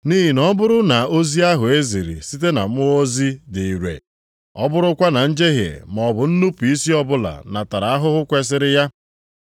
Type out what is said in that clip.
Nʼihi na ọ bụrụ na ozi ahụ e ziri site na ndị mmụọ ozi dị ire, ọ bụrụkwa na njehie maọbụ nnupu isi ọbụla natara ahụhụ kwesiri ya.